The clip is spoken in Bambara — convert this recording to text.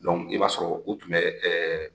i b'a sɔrɔ u tun bɛ ɛɛ